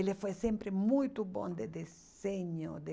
Ele foi sempre muito bom de desenho, de...